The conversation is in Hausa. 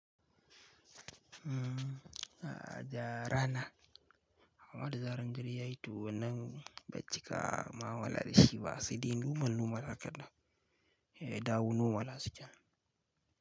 Mmm, a ja rana. Amma da zarar inji yayi tuwon nan bacika mu'amala da shi ba, sai dai normal normal hakan ɗan, eh dawo normal hasken.